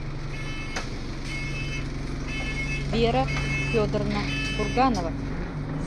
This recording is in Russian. вера федоровна курганова